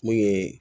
Mun ye